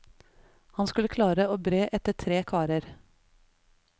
Hun skulle klare å bre etter tre karer.